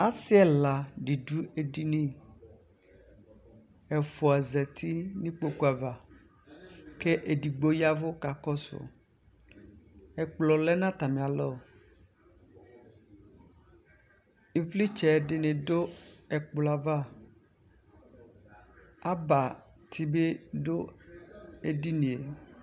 asiɛla du ɛdini ɛƒɔa zati nu ikɔkuav ke ɛdigɔ yɛvu kakɔsu ɛklɔ lɛ nu ataniɛtu ivlitsɛdɔ ɛkpɔyava abatididu ɛdiniɛ